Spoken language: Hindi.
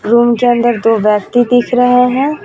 रूम के अंदर दो व्यक्ति दिख रहे हैं.